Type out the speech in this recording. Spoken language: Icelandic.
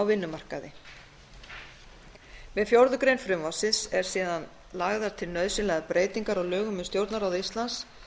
vinnumarkaði með fjórðu grein frumvarpsins eru síðan lagðar til nauðsynlegar breytingar á lögum um stjórnarráð íslands